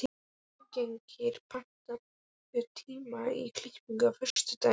Magngeir, pantaðu tíma í klippingu á föstudaginn.